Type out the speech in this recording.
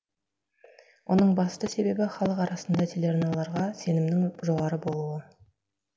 оның басты себебі халық арасында телеарналарға сенімнің жоғары болуы